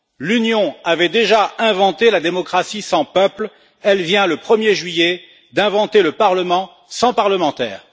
L'Union avait déjà inventé la démocratie sans peuple, elle vient, le 1er juillet, d'inventer le Parlement sans parlementaires.